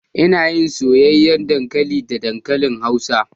Ina yin soyayyar dankali da dankali hausa